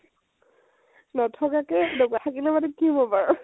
নথকাকে এনেকুৱা, থাকিলে মানে কি হব বাৰু?